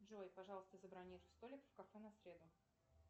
джой пожалуйста забронируй столик в кафе на среду